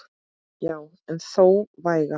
Já en þó vægan.